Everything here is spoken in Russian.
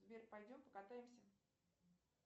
сбер пойдем покатаемся